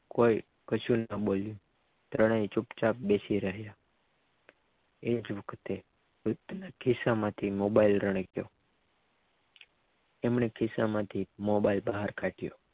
કોઈ કશું ન બોલ્યો ત્રણેય ચુપચાપ બેસી રહ્યા એ જ વખતે બુધના ખિસ્સામાંથી મોબાઈલ રણક્યો એમને ખિસ્સામાંથી મોબાઇલ બહાર કાઢ્યો